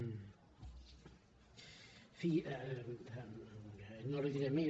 en fi no li diré més